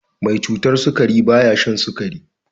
Mai cutar sukari ba ya shan sukari.